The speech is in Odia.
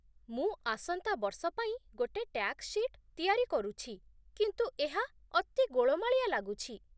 ମୁଁ ଆସନ୍ତା ବର୍ଷ ପାଇଁ ଗୋଟେ ଟ୍ୟାକ୍ସ ସିଟ୍ ତିଆରି କରୁଛି, କିନ୍ତୁ ଏହା ଅତି ଗୋଳମାଳିଆ ଲାଗୁଛି